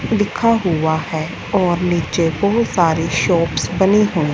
लिखा हुआ है और नीचे बहुत सारे शॉप्स बनी है।